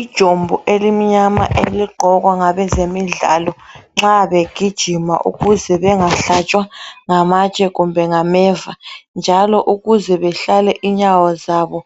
Ijombo elimnyama eligqokwa ngabezemidlalo nxa begijima ukuze bengahlatshwa ngamatshe kumbe ngameva njalo ukuze behlale inyawo zabo